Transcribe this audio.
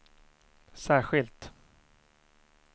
särskilt